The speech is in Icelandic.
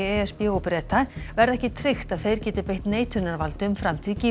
e s b og Breta verði ekki tryggt að þeir geti beitt neitunarvaldi um framtíð